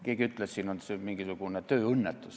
Keegi ütles, et siin oli mingisugune tööõnnetus.